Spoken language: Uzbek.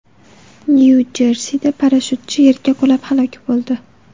Nyu-Jersida parashyutchi yerga qulab halok bo‘ldi.